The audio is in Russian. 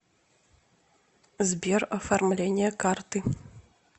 сбер оформление карты